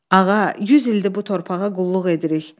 Ağa, 100 ildir bu torpağa qulluq edirik.